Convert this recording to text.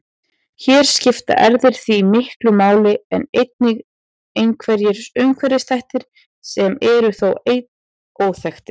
Hér skipta erfðir því miklu máli en einnig einhverjir umhverfisþættir sem eru þó enn óþekktir.